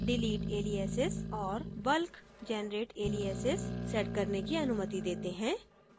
delete aliases और bulk generate aliases set करने की अनुमति देते हैं